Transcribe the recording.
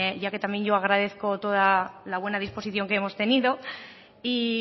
ya que también yo agradezco toda la buena disposición que hemos tenido y